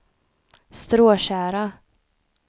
Stråtjära